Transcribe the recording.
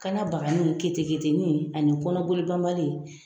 Kanna bagani, keteketeni ani kɔnɔboli banbali